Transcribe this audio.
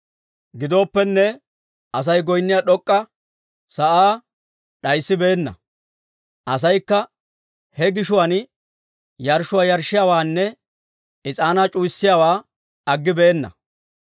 Gidooppenne Asay goynniyaa d'ok'k'a sa'aa d'ayisibeenna; asaykka he gishuwaan yarshshuwaa yarshshiyaawaanne is'aanaa c'uwayiyaawaa aggibeenna.